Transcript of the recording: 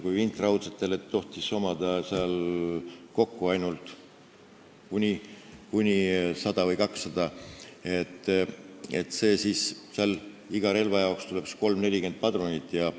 Kui vintraudsete relvade jaoks tohtis olla kokku ainult 100 või 200 padrunit, siis iga relva jaoks tuleb 30–40 padrunit.